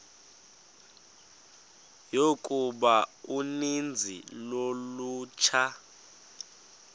yokuba uninzi lolutsha